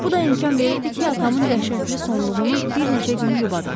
Bu da imkan verirdi ki, atamın dəhşətli sonluğunu bir neçə gün yubadaq.